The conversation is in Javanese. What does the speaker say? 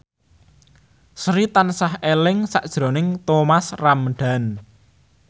Sri tansah eling sakjroning Thomas Ramdhan